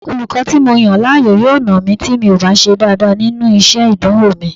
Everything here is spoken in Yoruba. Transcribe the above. Olùkọ́ tí mo yàn láàyò yóò nà mí tí mi ò bá ṣe dáadáa nínú iṣẹ́ ìdánwò mi